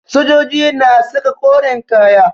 Sojoji na saka koren kaya